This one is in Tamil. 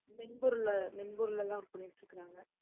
மென்பொருளை மென்பொருள் எல்லாம் work பண்ணிட்டுருக்காங்க